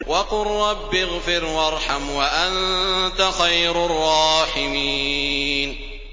وَقُل رَّبِّ اغْفِرْ وَارْحَمْ وَأَنتَ خَيْرُ الرَّاحِمِينَ